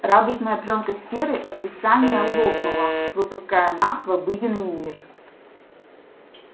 радужная плёнка сферы отрицания лопнула выпуская нас в обыденный мир